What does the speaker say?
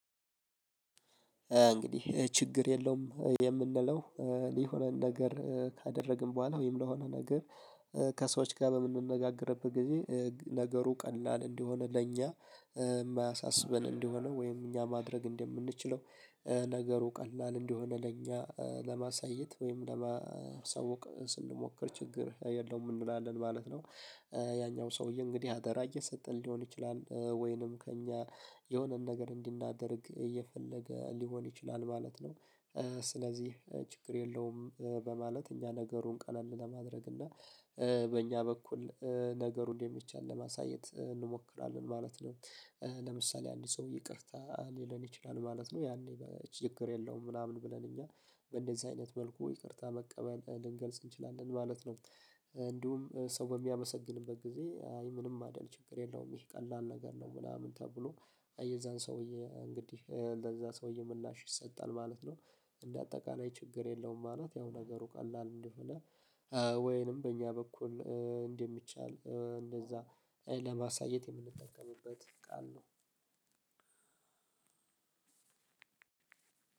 እንግዲህ ችግር የለውም የምንለው የሆነን ነገር ካደረግን በኋላ ወይም ለሆነ ነገር ከሰዎች ጋር በምንነጋገርበት ጊዜ ነገሩ ቀላል እንዲሆን ለኛ የማያሳስበን እንደሆነ ወይም እኛ ማድረግ እንደምንችለው ነገሩ ቀላል እንደሆነ ለእኛ ለማሳየት ወይም ለማሳወቅ ስንሞክር ችግር የለውም እንላለን ማለት ነው። ያኛው ሰውዬ እንግዲህ አደራ እየሰጠን ሊሆን ይችላል ወይንም ከእኛ የሆነን ነገር እንዲናደርግ እየፈለገ ሊሆን ይችላል ማለት ነው። ስለዚህ ችግር የለውም በማለት እኛ ነገሩን ቀለል ለማድረግ እና በእኛ በኩል ነገሩን የሚቻል ለማሳየት እንሞክራለን ማለት ነው። ለምሳሌ አንድ ሰው ይቅርታ ሊለን ይችላል ማለት ነው ያኔ ችግር የለውም ምናምን ብለን እኛ በእንደዚህ አይነት መልኩ ይቅርታ መቀበል ልንገልጽ እንችላለን ማለት ነው። እንዲሁም ሰው በሚያመሰግንበት ጊዜ አይ ምንም አይደል ችግር የለውም ይሄ ቀላል ነገር ነው ምናምን ተብሎ የዛን ሰውዬ እንግዲህ በዛ ሰውዬ ምላሽ ይሰጣል ማለት ነው። እንደ አጠቃላይ ችግር የለውም ማለት ያው ነገሩ ቀላል እንደሆነ ወይንም በእኛ በኩል እንደሚቻል እንደዛ ለማሳየት የምንጠቀምበት ቃል ነው።